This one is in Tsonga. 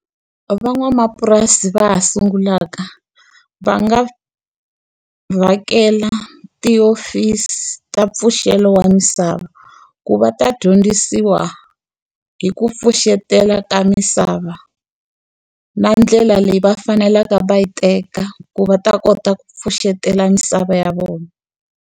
Van'wamapurasi va ha sungulaka, va nga vhakela tihofisi ta mpfuxeto wa misava. Ku va ta dyondzisiwa hi ku pfuxetela ka misava, na ndlela leyi va faneleke va yi teka ku va ta kota ku pfuxetela misava ya vona.